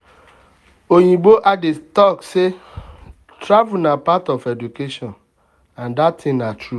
oyibo adage talk say travel na part of education and that thing na true.